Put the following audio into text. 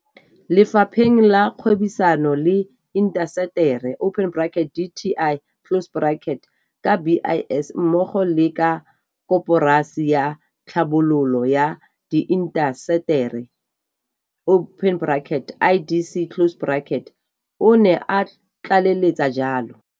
Lefapheng la Kgwebisano le Intaseteri, dti, ka BIS mmogo le ka Koporasi ya Tlhabololo ya Diintaseteri, IDC, o ne a tlaleletsa jalo.